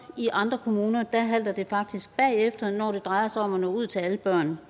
i andre kommuner halter det faktisk bagefter når det drejer sig om at nå ud til alle børn